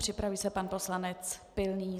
Připraví se pan poslanec Pilný.